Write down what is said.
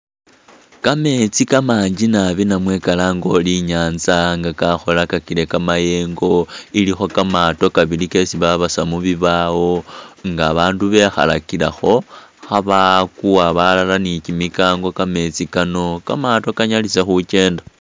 Kameetsi kamangi naabi namwe kalange uri inyatsa nga kakholakakile kamayengo iliko kamaato kabili kesi babasa mububbawo nga bandu bekhalakilekho khabakuwa balala ni kimikanko kameetsi kano kamaato kanyalise khukyeenda.